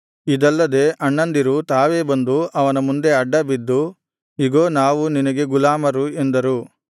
ಇದಲ್ಲದೆ ಅಣ್ಣಂದಿರು ತಾವೇ ಬಂದು ಅವನ ಮುಂದೆ ಅಡ್ಡಬಿದ್ದು ಇಗೋ ನಾವು ನಿನಗೆ ಗುಲಾಮರು ಎಂದರು